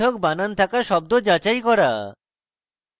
পৃথক বানান থাকা শব্দ যাচাই করা